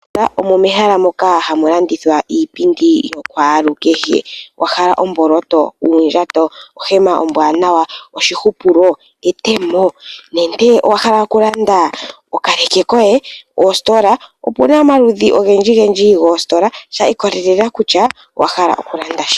Omo mehala moka hamu landithwa iipindi yakwalukehe. Owa hala omboloto, uundjato, ohema ombwaanawa, oshihupulo, etemo nenge owa hala okulanda okaleke koye? Oositola opu na omaludhi ogendjigendji goositola sha ikolelela kutya owa hala okulanda shike.